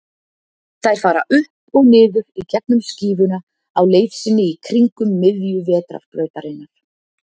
Þær fara upp og niður í gegnum skífuna á leið sinni í kringum miðju Vetrarbrautarinnar.